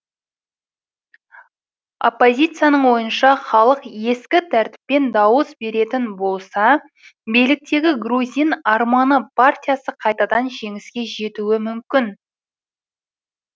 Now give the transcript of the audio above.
оппозицияның ойынша халық ескі тәртіппен дауыс беретін болса биліктегі грузин арманы партиясы қайтадан жеңіске жетуі мүмкін